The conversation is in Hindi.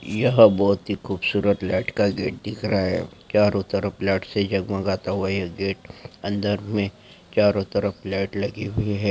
यहा बहुत ही खूबसूरत लाइट का गेट दिख रहा है चारों तरफ लाइट से जगमाता हुआ ये गेट अंदर मे चारों तरफ लाइट लगी हुई हैं।